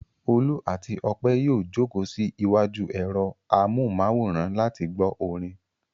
Olú àti Ọpẹ́ yóò jókòó sí iwájú ẹ̀rọ amóhùmáwòhán láti gbọ́ orin.